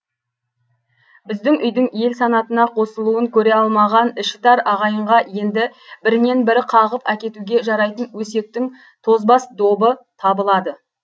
біздің үйдің ел санатына қосылуын көре алмаған ішітар ағайынға енді бірінен бірі қағып әкетуге жарайтын өсектің тозбас добы табылады